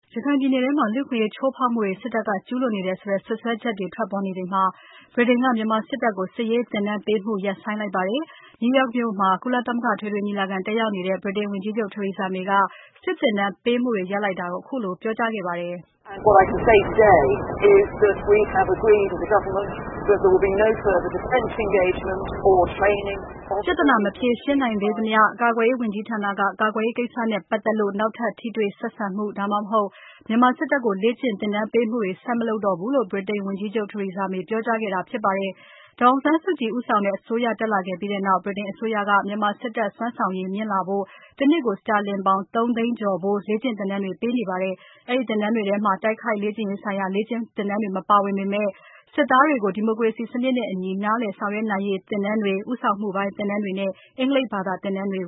ရခိုင်ပြည်နယ်ထဲမှာ လူ့အခွင့်အရေး ချိုးဖောက်မှုတွေ စစ်တပ်က ကျူးလွန်နေတယ် ဆိုတဲ့ စွပ်စွဲချက်တွေ ထွက်ပေါ်နေချိန်မှာ ဗြိတိန်က မြန်မာစစ်တပ်ကို စစ်ရေးသင်တန်းပေးမှုတွေ ရပ်ဆိုင်းလိုက်ပါတယ်။ New York မြို့မှာ ကုလသမဂ္ဂ အထွေထွေညီလာခံ တက်ရောက်နေတဲ့ ဗြိတိန်ဝန်ကြီးချုပ် Theresa May က စစ်သင်တန်းပေးမှုတွေ ရပ်လိုက်တာကို ခုလိုပြောပါတယ်။ ပြဿနာ မဖြေရှင်းနိုင်သေးသမျှ ကာကွယ်ရေး ဝန်ကြီးဌာနက ကာကွယ်ရေးကိစ္စနဲ့ ပတ်သက်လို့ နောက်ထပ် ထိတွေ့ဆက်ဆံမှု ဒါမှမဟုတ် မြန်မာစစ်တပ်ကို လေ့ကျင့်သင်တန်းပေးမှုတွေ ဆက်မလုပ်တော့ဘူးလို့ ဗြိတိန်ဝန်ကြီးချုပ် Theresa May ကပြောကြားခဲ့တာ ဖြစ်ပါတယ်။ ဒေါ်အောင်ဆန်းစုကြည် ဦးဆောင်တဲ့ အစိုးရ တက်လာခဲ့ပြီးနောက် ဗြိတိန်အစိုးရက မြန်မာစစ်တပ် စွမ်းဆောင်ရည်မြင့်လာဖို့ တနှစ်ကို စတာလင်ပေါင် ၃ သိန်းကျော်ဖိုး လေ့ကျင့်သင်တန်းတွေ ပေးခဲ့ပါတယ်။ အဲဒီသင်တန်းတွေထဲမှာ တိုက်ခိုက်ရေးဆိုင်ရာ လေ့ကျင့်သင်ကြားမှုတွေ မပါဝင်ပေမယ့် စစ်သားတွေကို ဒီမိုကရေစီစနစ်နဲ့အညီ နားလည်ဆောင်ရွက်နိုင်ရေးသင်တန်းတွေ၊ဦးဆောင်မှုပိုင်း သင်တန်းတွေနဲ့ အင်္ဂလိပ်ဘာသာ သင်တန်းတွေ